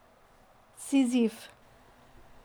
Sizif.